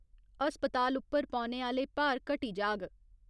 अस्पताल उप्पर पौने आह्‌ले भार घटी जाग।